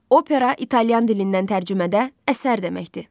Opera italyan dilindən tərcümədə əsər deməkdir.